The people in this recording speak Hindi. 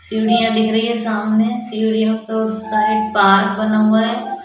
सीढ़ियां दिख रही है सामने सीढ़ियों के ऊस साइड बार बना हुआ है।